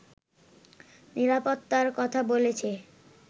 নিরাপত্তার কথা বলেছে